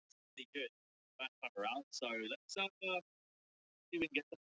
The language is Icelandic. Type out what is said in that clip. Íbúðarhúsið er einnar hæðar og ekki hátt undir loft.